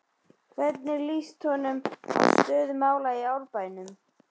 Hvernig lýst honum á stöðu mála í Árbænum?